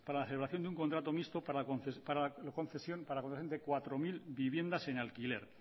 la celebración de un contrato mixto para la concesión de cuatro mil viviendas en alquiler